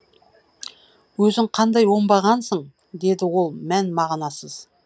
өзің қандай оңбағансың деді ол мән мағынасыз